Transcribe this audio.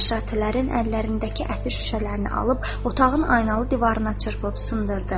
Məşşatələrin əllərindəki ətir şüşələrini alıb otağın aynalı divarına çırpıb sındırdı.